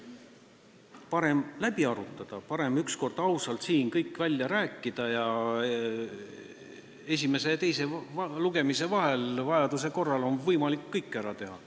Parem on läbi arutada, parem on üks kord ausalt siin kõik välja rääkida ning esimese ja teise lugemise vahel on vajaduse korral võimalik kõik ära teha.